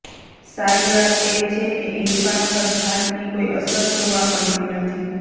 સારી વાત એ છે કે ઈરફાન પર થાકની કોઈ અસર જોવા મળતી નથી